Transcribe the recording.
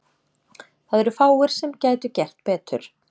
Það eru fáir sem gætu gert betur.